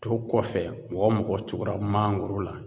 To kɔfɛ mɔgɔ mɔgɔ tugura mangoro la